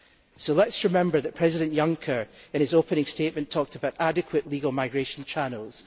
So let us remember that President Juncker, in his opening statement, talked about adequate legal migration channels.